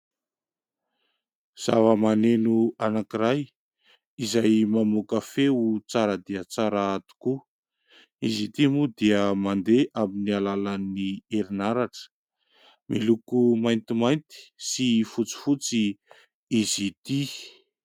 Zava-maneno anankiray izay mamoaka feo tsara dia tsara tokoa. Izy ity moa dia mandeha amin'ny alalan'ny herinaratra miloko mainty mainty sy fotsy fotsy izy ity.